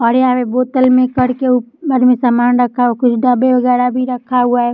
हरे-हरे बोतल मे करके उ समान रखा हुआ है कुछ डब्बे वागेरा भी रखा हुआ है।